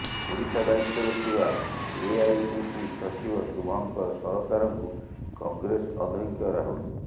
ଓଡ଼ିଶା ଦାୟିତ୍ୱରେ ଥିବା ଏଆଇସିସି ସଚିବ ଶୁଭଙ୍କର ସରକାରଙ୍କୁ କଂଗ୍ରେସ ଅଧ୍ୟକ୍ଷ ରାହୁଲ